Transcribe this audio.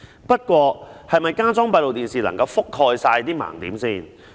不過，加裝閉路電視能否覆蓋所有盲點？